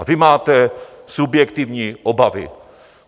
A vy máte subjektivní obavy.